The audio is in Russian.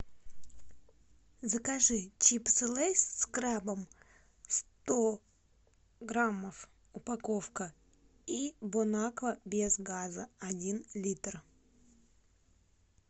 закажи чипсы лейс с крабом сто граммов упаковка и бонаква без газа один литр